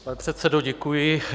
Pane předsedo, děkuji.